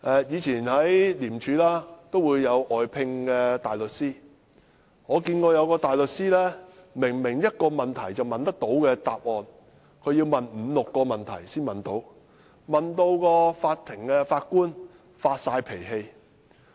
廉政公署也會外聘大律師，我曾經遇見一個大律師，他明明可以問一個問題便得到答案，但他卻要問五六個問題才得到答案，令法官也發脾氣。